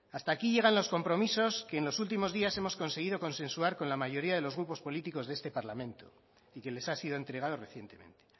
hasta aquí llegan los compromisos que en los últimos días hemos conseguido consensuar con la mayoría de los grupos políticos de este parlamento y que les ha sido entregado recientemente